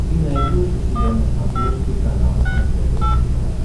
ты найдешь у себя на смотрешке канал нтв сериал